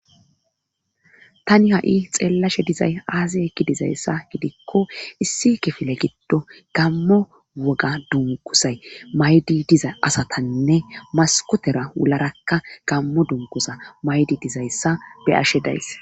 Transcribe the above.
Tani ha'i xeellashe dizay aazi ekki dizayssa gidikko issi kifile giddo gammo woga dungusay maydi diza asatanne maskotera wularakka gammo dungusa maydi dizayssa be'ashe days.